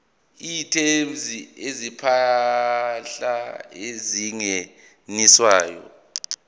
items zezimpahla ezingeniswayo